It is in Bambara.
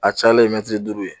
A cayalen ye mɛtiri duuru ye.